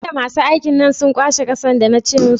Jiya masu aikin nan sun kwashe ƙasar da na ce musu?